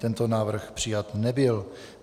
Tento návrh přijat nebyl.